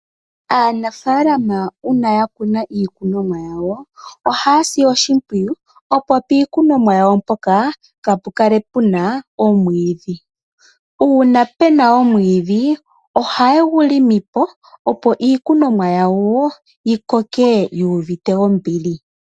Aanafaalama uuna yakuna iikunomwa yawo, ohayasi oshimwiyu opo piikunomwa yawo mpoka kaapukale puna omwiidhi, uuna pena omwiidhi ohayegu longopo opo iikunomwa yawo yikokee yuuvite ombili.